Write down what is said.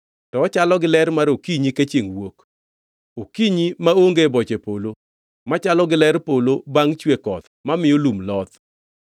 to ochalo gi ler mar okinyi ka chiengʼ wuok, okinyi maonge boche polo, machalo gi ler polo bangʼ chue koth mamiyo lum loth.